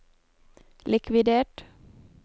likvidert